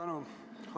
Suur tänu!